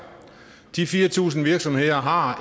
de fire tusind virksomheder har